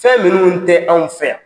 Fɛn minnuw tɛ anw fɛ yan